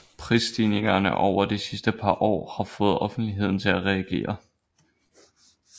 Prisstigninger over de sidste par år har fået offentligheden til at reagere